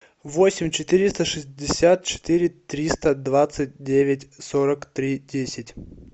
восемь четыреста шестьдесят четыре триста двадцать девять сорок три десять